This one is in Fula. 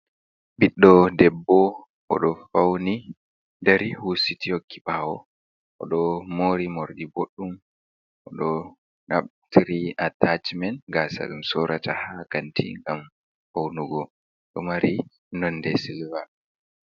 "Ɓiɗdo debbo oɗo fauni dari husiti hokki ɓawo odo mori morɗi boɗɗum oɗo naftiri atacmen gasa ɗum sorata ha kanti ngam faunugo ɗo mari nonde silva.